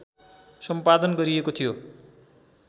सम्पादन गरिएको थियो